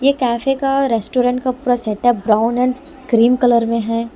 ये कैफे का रेस्टोरेंट का पूरा setup brown and cream colour में है।